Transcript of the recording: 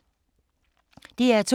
DR2